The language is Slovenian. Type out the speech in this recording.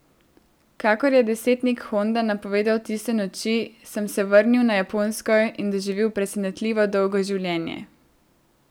Kakor je desetnik Honda napovedal tiste noči, sem se vrnil na Japonsko in doživel presenetljivo dolgo življenje.